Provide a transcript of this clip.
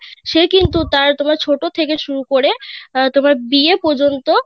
সে কিন্তু তার তোমার ছোট থেকে শুরু করে অ্যাঁ তোমার বিয়ে পর্যন্ত